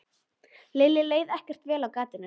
Lillu leið ekkert vel á gatinu.